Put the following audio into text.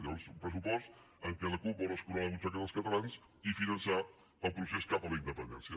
llavors un pressupost en què la cup vol escurar la butxaca dels catalans i finançar el procés cap a la independència